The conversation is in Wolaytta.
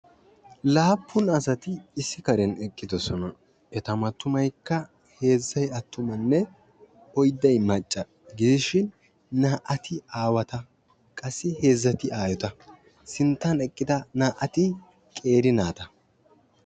Laappun asati issi karen eqqidosona. eta mattumaykka heezzay attumanne oydday macca gidishin naa"ati aawata qassi heezzati aayota sinttan eqqida naati qeeri naata.